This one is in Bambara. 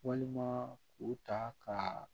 Walima k'u ta ka